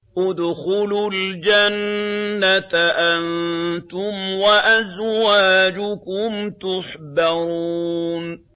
ادْخُلُوا الْجَنَّةَ أَنتُمْ وَأَزْوَاجُكُمْ تُحْبَرُونَ